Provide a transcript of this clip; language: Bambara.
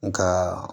Nka